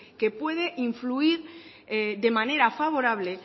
que puede influir de manera favorable